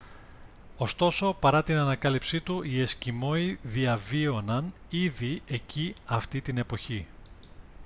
ωστόσο παρά την ανακάλυψή του οι εσκιμώοι διαβίωναν ήδη εκεί αυτή την εποχή